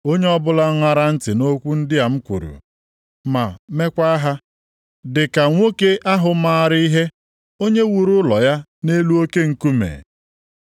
“Onye ọbụla ṅara ntị nʼokwu ndị a m kwuru, ma meekwa ha, dị ka nwoke ahụ maara ihe, onye wuru ụlọ ya nʼelu oke nkume.